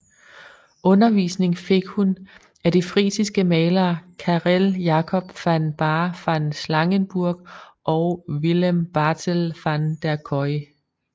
Undervisning fik hun af de frisiske malere Carel Jacob van Baar van Slangenburgh og Willem Bartel van der Kooi